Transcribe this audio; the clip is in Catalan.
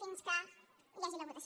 fins que hi hagi la votació